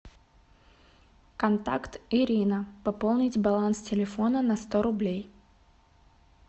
контакт ирина пополнить баланс телефона на сто рублей